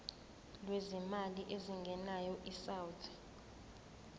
lwezimali ezingenayo isouth